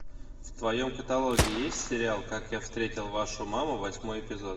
в твоем каталоге есть сериал как я встретил вашу маму восьмой эпизод